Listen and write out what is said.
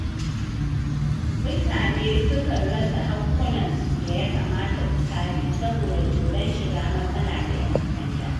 Mutane sukan rasa haƙƙunansu da ya kamata su kare saboda tsoron shiga matsala da ƴan sanda.